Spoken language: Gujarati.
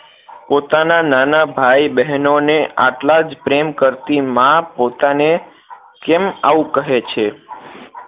પોતાના નાના ભાઈ બહેનો ને આટલા જ પ્રેમ કરતી માં પોતાને કેમ આવું કહે છે